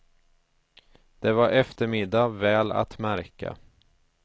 Det var eftermiddag, väl att märka.